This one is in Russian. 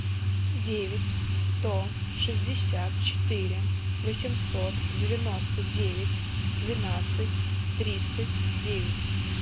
девять сто шестьдесят четыре восемьсот девяносто девять двенадцать тридцать девять